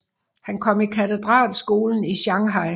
Han kom i katedralskolen i Shanghai